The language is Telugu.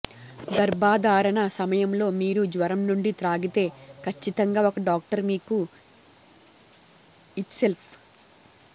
గర్భధారణ సమయంలో మీరు జ్వరం నుండి త్రాగితే ఖచ్చితంగా ఒక డాక్టర్ మీకు ఇత్సెల్ఫ్